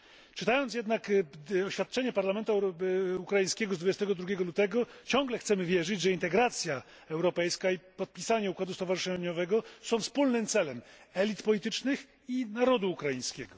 Czytając jednak oświadczenie parlamentu ukraińskiego z dnia 22 lutego, ciągle chcemy wierzyć, że integracja europejska i podpisanie układu stowarzyszeniowego są wspólnym celem elit politycznych i narodu ukraińskiego.